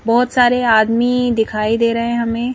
बहोत सारे आदमी दिखाई दे रहे हैं हमें.--